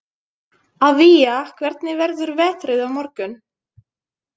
Avía, hvernig verður veðrið á morgun?